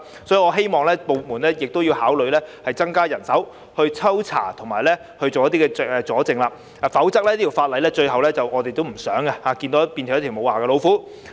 所以，我希望有關部門考慮增加人手進行抽查和搜證的工作，否則，這項法例最後便會變成"無牙老虎"，這不是我們想看到的。